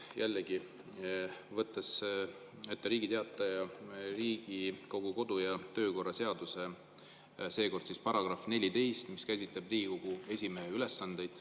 Jällegi võtan ette Riigi Teatajas Riigikogu kodu- ja töökorra seaduse, seekord § 14, mis käsitleb Riigikogu esimehe ülesandeid.